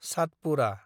Satpura